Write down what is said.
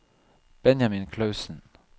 Benjamin Clausen